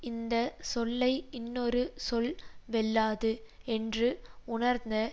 இந்த சொல்லை இன்னொரு சொல் வெல்லாது என்று உணர்ந்த